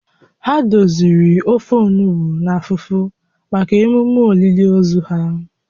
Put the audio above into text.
Ha doziri ofe onugbu na fufu maka emume olili ozu ahụ